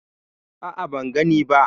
A'a, ban gani ba.